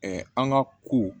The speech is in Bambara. an ka ko